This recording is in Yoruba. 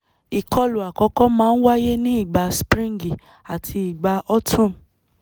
ìkọlù àkọ́kọ́ máa ń wáyé ní ìgbà spríǹgì àti ìgbà autumn